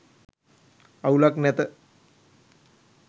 අවුලක් නැත..